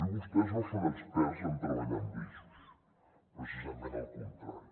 i vostès no són experts en treballar amb grisos precisament al contrari